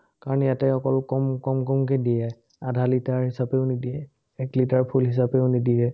কাৰণ ইয়াতে অকল কম কমকমকে দিয়ে, আধা লিটাৰ হিচাপেও নিদিয়ে, এক লিটাৰ full হিচাপেও নিদিয়ে।